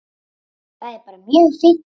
Það er bara mjög fínt.